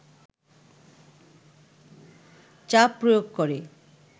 চাপ প্রয়োগ করে